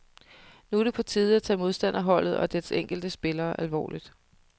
Nu er det på tide at tage modstanderholdet og dets enkelte spillere alvorligt.